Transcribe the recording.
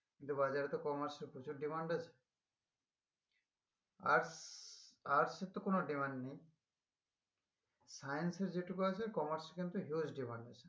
কিন্তু বাজারে তো commerce এর প্রচুর demand আছে arts arts এর তো কোনো demand নেই science এর যেটুকু আছে commerce এর কিন্তু huge demand আছে